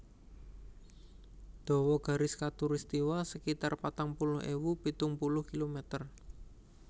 Dawa garis khatulistiwa sekitar patang puluh ewu pitung puluh kilometer